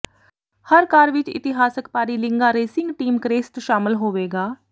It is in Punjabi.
ਹਰ ਕਾਰ ਵਿਚ ਇਤਿਹਾਸਕ ਪਾਰੀਲਿੰਗਾ ਰੇਸਿੰਗ ਟੀਮ ਕਰੇਸਟ ਸ਼ਾਮਲ ਹੋਵੇਗਾ